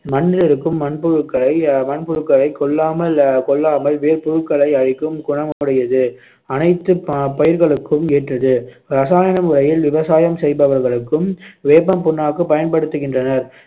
மண்ணிலிருக்கும் மண்புழுக்களை அஹ் மண்புழுக்களை ஆஹ் கொல்லாமல் ஆஹ் கொல்லாமல் வேர்ப்புழுக்களை அழிக்கும் குணமுடையது அனைத்துப் ப~ பயிர்களுக்கும் ஏற்றது இரசாயன முறையில் விவசாயம் செய்பவர்களுக்கும் வேப்பம் புண்ணாக்கு பயன்படுத்துகின்றனர்